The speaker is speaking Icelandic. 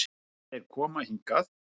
Ef þeir koma hingað.